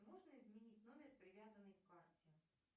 можно изменить номер привязанный к карте